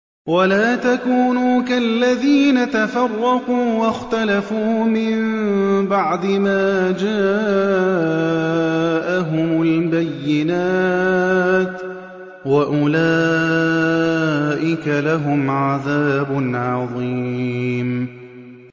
وَلَا تَكُونُوا كَالَّذِينَ تَفَرَّقُوا وَاخْتَلَفُوا مِن بَعْدِ مَا جَاءَهُمُ الْبَيِّنَاتُ ۚ وَأُولَٰئِكَ لَهُمْ عَذَابٌ عَظِيمٌ